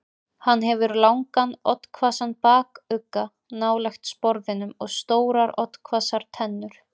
Hann hefur langan, oddhvassan bakugga nálægt sporðinum og stórar oddhvassar tennur.